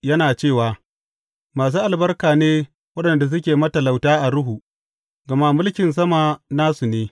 Yana cewa, Masu albarka ne waɗanda suke matalauta a ruhu, gama mulkin sama nasu ne.